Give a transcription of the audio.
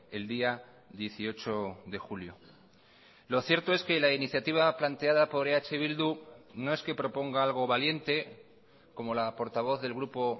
el día dieciocho de julio lo cierto es que la iniciativa planteada por eh bildu no es que proponga algo valiente como la portavoz del grupo